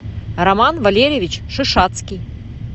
роман валерьевич шишацкий